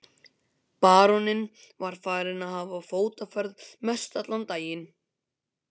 Baróninn var farinn að hafa fótaferð mestallan daginn.